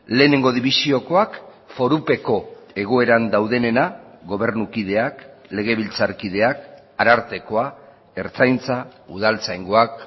lehenengo dibisiokoak forupeko egoeran daudenena gobernukideak legebiltzarkideak arartekoa ertzaintza udaltzaingoak